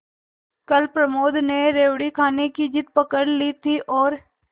कल प्रमोद ने रेवड़ी खाने की जिद पकड ली थी और